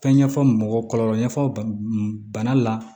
Fɛn ɲɛfɔ mɔgɔ kɔlɔlɔ ɲɛfɔ bana la